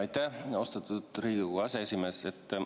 Aitäh, austatud Riigikogu aseesimees!